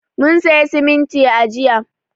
Mun siya simintin a jiya.